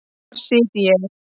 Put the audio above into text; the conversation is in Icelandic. Þar sit ég.